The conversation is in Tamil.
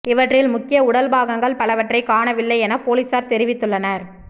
இவற்றில் முக்கிய உடல் பாகங்கள் பலவற்றை காணவில்லை என போலீசார் தெரிவித்துள்ளனர்